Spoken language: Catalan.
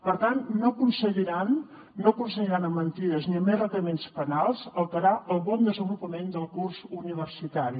per tant no aconseguiran no aconseguiran amb mentides ni amb requeriments penals alterar el bon desenvolupament del curs universitari